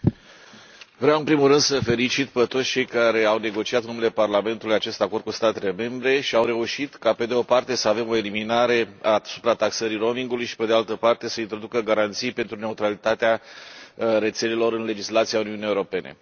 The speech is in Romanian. Domnule președinte, vreau în primul rând să îi felicit pe toți cei care au negociat, în numele Parlamentului, acest acord cu statele membre și au reușit ca, pe de o parte, să avem o eliminare a suprataxării roamingului și, pe de altă parte, să se introducă garanții pentru neutralitatea rețelelor în legislația Uniunii Europene.